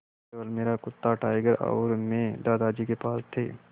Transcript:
केवल मेरा कुत्ता टाइगर और मैं दादाजी के पास थे